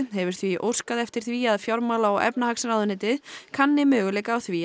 hefur því óskað eftir því að fjármála og efnahagsráðuneytið kanni möguleika á því